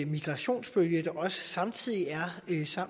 migrationsbølge der er samtidig